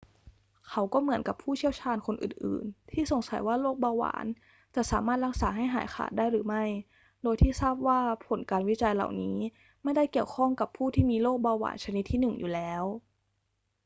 เขาก็เหมือนกับผู้เชี่ยวชาญคนอื่น ๆ ที่สงสัยว่าโรคเบาหวานจะสามารถรักษาให้หายขาดได้หรือไม่ โดยที่ทราบว่าผลการวิจัยเหล่านี้ไม่ได้เกี่ยวข้องกับผู้ที่มีโรคเบาหวานชนิดที่ 1 อยู่แล้ว